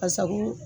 Ka sago